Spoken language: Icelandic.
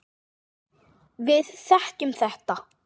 Við þekkjum þetta.